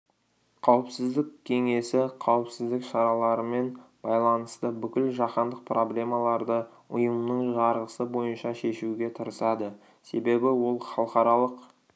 қауіпсіздік кеңесі қауіпсіздік шараларымен байланысты бүкіл жаһандық проблемаларды ұйымның жарғысы бойынша шешуге тырысады себебі ол халықаралық